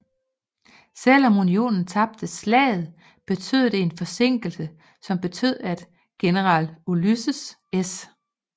Selv om Unionen tabte slaget betød det en forsinkelse som betød at general Ulysses S